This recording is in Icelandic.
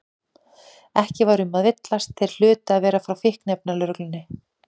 Ekki var um að villast, þeir hlutu að vera frá Fíkniefnalögreglunni.